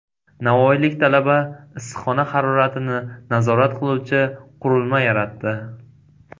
Navoiylik talaba issiqxona haroratini nazorat qiluvchi qurilma yaratdi.